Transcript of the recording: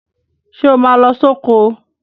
Ṣé o máa lọ sóko.?